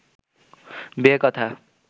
বিয়ে কথা